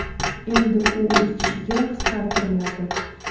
endi u uch kishiga qisqartiriladi.